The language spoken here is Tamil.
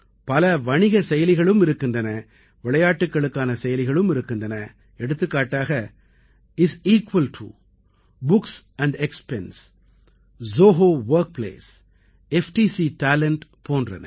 பல வணிகs செயலிகளும் இருக்கின்றன விளையாட்டுக்களுக்கான செயலிகளும் இருக்கின்றன எடுத்துக்காட்டாக is equal to books expense Zoho workplace FDC talent போன்றன